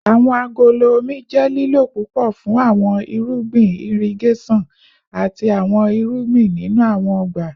Awọn agolo omi jẹ lilo pupọ fun awọn irugbin irigeson ati awọn irugbin ninu awọn ọgba